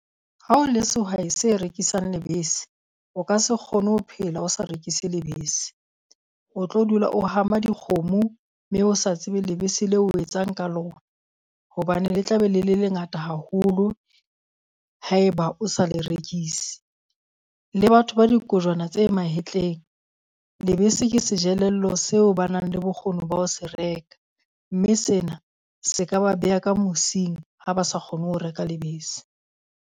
Ha o le sehwai se rekisang lebese, o ka se kgone ho phela o sa rekise lebese. O tlo dula o hama dikgomo mme o sa tsebe lebese leo o etsang ka lona. Hobane le tla be le le ngata haholo haeba o sa le rekise, le batho ba dikojwana tse mahetleng, lebese ke sejelello seo ba nang le bokgoni ba ho se reka. Mme sena se ka ba beha ka mosing ha ba sa kgone ho reka lebese.